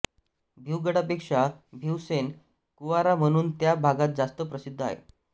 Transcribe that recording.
भिवगडापेक्षा भिवसेन कुआरा म्हणून त्या भागात जास्त प्रसिद्ध आहे